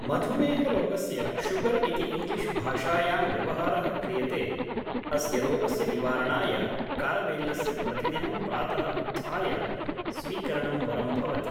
मधुमेहरोगस्य sugar इति English भाषायां व्यवहारः क्रियते अस्य रोगस्य निवारणाय कारवेल्लस्य प्रतिदिनं प्रातः उत्थाय स्वीकरणं वरं भवति